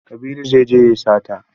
Kabiru zai je ya yi sata.